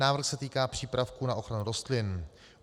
Návrh se týká přípravků na ochranu rostlin.